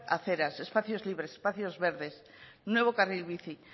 aceras espacios libres espacios verdes nuevo carril bici